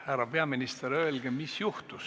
Härra peaminister, öelge, mis juhtus.